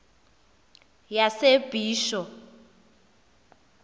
yasebisho